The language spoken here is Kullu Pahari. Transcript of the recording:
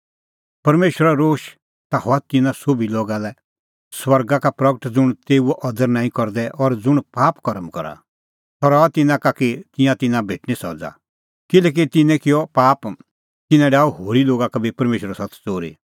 परमेशरो रोश ता हआ तिन्नां सोभी लोगा लै स्वर्गा का प्रगट ज़ुंण तेऊओ अदर नांईं करदै और ज़ुंण पाप कर्म करा सह रहैऊआ तिन्नां का कि तिंयां तिन्नां भेटणीं सज़ा किल्हैकि तिन्नैं किअ पाप तिन्नैं डाही होरी लोगा का बी परमेशरो सत्त च़ोरी